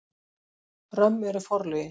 Römm eru forlögin.